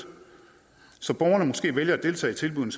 så borgerne måske vælger at deltage i tilbuddene